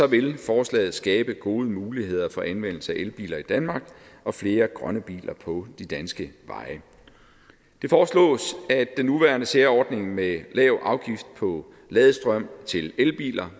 vil forslaget skabe gode muligheder for anvendelse af elbiler i danmark og flere grønne biler på de danske veje det foreslås at den nuværende særordning med lav afgift på ladestrøm til elbiler